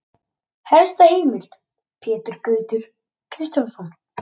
Helsta heimild: Pétur Gautur Kristjánsson.